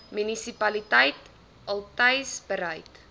munisipaliteit altys bereid